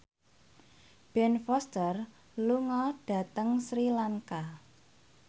Ben Foster lunga dhateng Sri Lanka